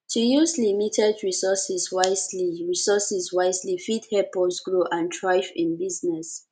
to use limited resources wisely resources wisely fit help us grow and thrive in business